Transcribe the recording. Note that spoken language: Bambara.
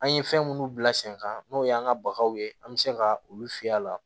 An ye fɛn munnu bila sen kan n'o y'an ka bagaw ye an bɛ se ka olu fiyɛ a la